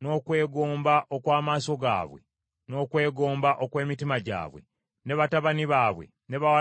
n’okwegomba okw’amaaso gaabwe, n’okwegomba okw’emitima gyabwe, ne batabani baabwe ne bawala baabwe,